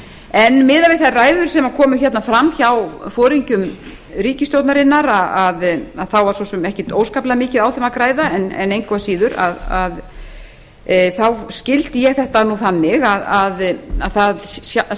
en miðað við þær ræður sem komu fram hjá foringjum ríkisstjórnarinnar þá var svo sem ekkert óskaplega mikið á þeim að græða en engu að síður skildi ég þetta þannig að